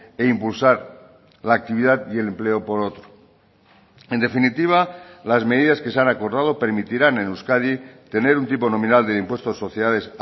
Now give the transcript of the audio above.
e impulsar la actividad y el empleo por otro en definitiva las medidas que se han acordado permitirán en euskadi tener un tipo nominal del impuesto de sociedades